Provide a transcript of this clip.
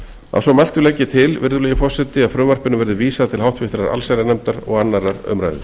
að svo mæltu legg ég til að frumvarpinu verði vísað til háttvirtrar allsherjarnefndar og annarrar umræðu